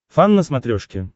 фан на смотрешке